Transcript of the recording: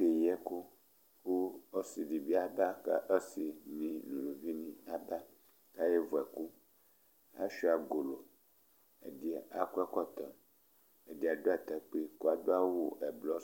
Akeyi ɛku kʋ ɔsi si bi aba kʋ ɔsi ni nʋ ʋlʋvi ni aba kʋ ayaha vʋ ɛkʋ Asʋia golo Ɛdí akɔ ɛkɔtɔ Ɛdí adu atakpi kʋ adu awu ɛblɔ